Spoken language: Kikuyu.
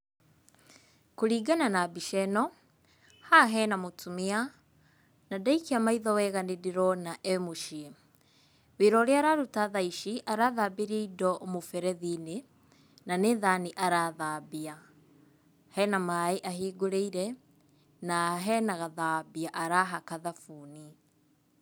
Kũringana na mbica ĩno, haha hena mũtumia, na ndaikia maitho wega nĩ ndĩrona e mũciĩ. Wĩra ũrĩa araruta thaa ici arathambĩria indo mũberethi-inĩ, na nĩ thani arathambia. Hena maaĩ ahingũrĩire na hena gathambia arahaka thabuni.